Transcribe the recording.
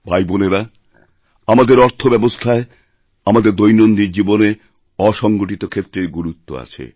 বোনেরা আমাদেরঅর্থব্যবস্থায় আমাদের দৈনন্দিন জীবনে অসংগঠিত ক্ষেত্রের গুরুত্ব আছে